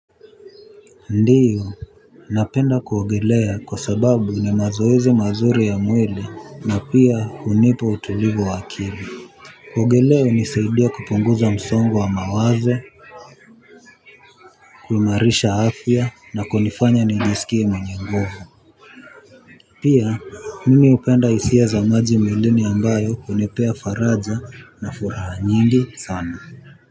Ndiyo. Napenda kuogelea kwa sababu ni mazoezi mazuri ya mwili na pia hunipa utulivu wa akili. Kuogelea hunisaidia kupunguza msongo wa mawazo. Kuimarisha afya na kunifanya nijisikie mwenye nguvu. Pia mimi hupenda hisia za maji mwilini ambayo hunipea faraja na furaha nyingi sana.